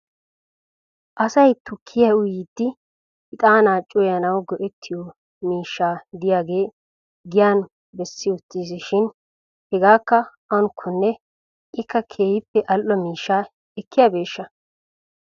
Asay tukkiyaa uyiiddi ixaanaa cuwayanawu go'ettiyo miishsha diyaagee giyan bessi uttiis shin hegeekka awunkkonne ikka keehippe al"o miishsha ekkiyaabeeshsha ?